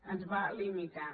ens va limitar